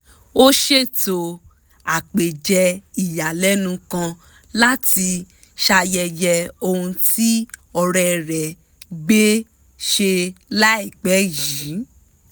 ó ṣètò àpèjẹ ìyàlẹ́nu kan láti ṣayẹyẹ ohun tí ọ̀rẹ́ rẹ̀ gbé ṣe láìpẹ́ yìí